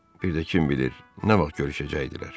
Bir də kim bilir, nə vaxt görüşəcəkdilər?